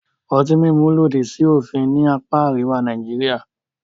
Ọtí mímu lòdì sí òfin ní apá àríwá Nàìjíríà.